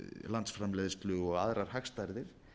landsframleiðslu og aðrar hagstærðir